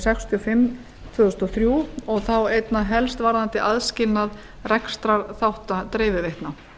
sextíu og fimm tvö þúsund og þrjú og þá einna helst varðandi aðskilnað rekstrarþátta dreifiveitna